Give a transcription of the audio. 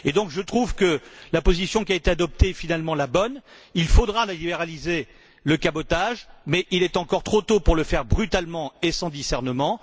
Et donc, je trouve que la position qui a été adoptée est finalement la bonne. Il faudra libéraliser le cabotage, mais il est encore trop tôt pour le faire brutalement et sans discernement.